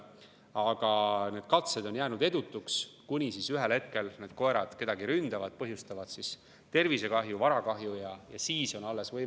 Aga need katsed on jäänud edutuks, kuni siis ühel hetkel koerad kedagi ründavad, põhjustades kas tervise- või varakahju.